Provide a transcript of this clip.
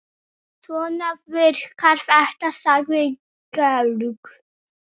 Svona virkar þetta, sagði Georg.